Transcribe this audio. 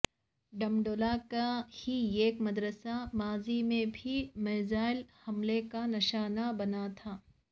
ڈمہ ڈولا کا ہی ایک مدرسہ ماضی میں بھی میزائل حملے کا نشانہ بنا تھا